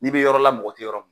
N'i bɛ yɔrɔ la mɔgɔ tɛ yɔrɔ min,